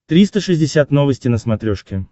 триста шестьдесят новости на смотрешке